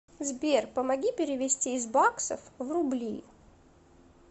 сбер помоги перевести из баксов в рубли